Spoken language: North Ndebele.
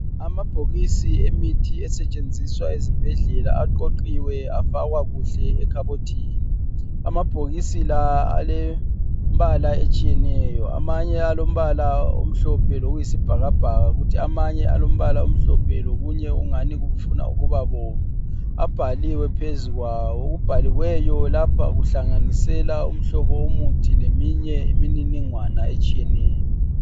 Amabhokisi yemithi esetshenziswa ezibhedlela aqoqiwe afakwa kuhle ekhabothini. Amabhokisi la alembala etshiyeneyo amanye alombala omhlophe lokuyisibhakabhaka kuthi amanye alombala omhlophe lokunye okungani kufuna ukuba bomvu. Abhaliwe phezukwawo. Okubhaliweyo lapha kuhlanganisela umhlobo womuthi leminye imininingwana etshiyeneyo.